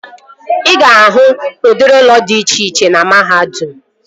Ị ga-ahụ udịri ụlọ dị iche iche na mahadum